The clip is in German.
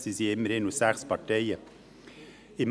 Sie sind immerhin aus sechs Parteien zusammengesetzt.